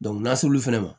n'a sɔr'olu fɛnɛ ma